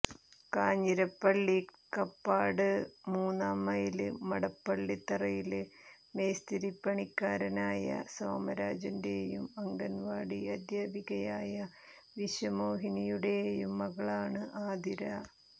കാഞ്ഞിരപ്പള്ളി കപ്പാട് മൂന്നാം മൈല് മടപ്പള്ളിതറയില് മേസ്തിരിപ്പണിക്കാരനായ സോമരാജന്റെയും അംഗന്വാടി അധ്യാപികയായ വിശ്വമോഹിനിയുടെയും മകളാണ് ആതിര